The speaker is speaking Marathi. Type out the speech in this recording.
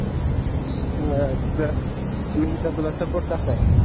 अह I mean तुला support कसा आहे